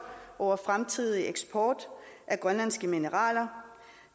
over fremtidig eksport af grønlandske mineraler